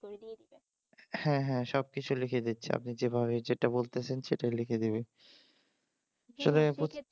হ্যাঁ হ্যাঁ সব কিছু লিখে দিচ্ছে আপনি যেটা বলতেছেন সেটাই লিখে দেবে